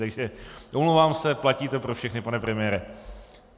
Takže omlouvám se, platí to pro všechny, pane premiére.